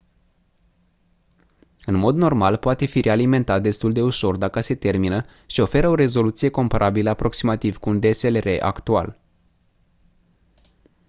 în mod normal poate fi realimentat destul de ușor dacă se termină și oferă o rezoluție comparabilă aproximativ cu un dslr actual